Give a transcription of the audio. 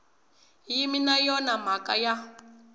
yimi na yona mhaka ya